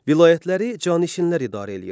Vilayətləri canişinlər idarə eləyirdilər.